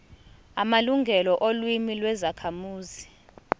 amalungelo olimi lwezakhamuzi